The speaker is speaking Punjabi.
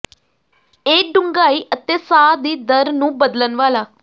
ਇਹ ਡੂੰਘਾਈ ਅਤੇ ਸਾਹ ਦੀ ਦਰ ਨੂੰ ਬਦਲਣ ਵਾਲਾ